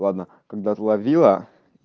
ладно когда словила